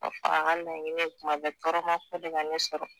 O fana ka laɲini kuma bɛɛ tɔrɔmako de ka ne sɔrɔ